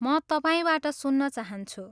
म तपाईँबाट सुन्न चाहन्छु।